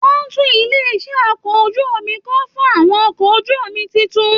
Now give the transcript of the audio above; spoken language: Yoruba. Wọn n tún ilé iṣẹ okọ̀ ojú omi kọ́ fún àwọn okọ̀ ojú omi títún.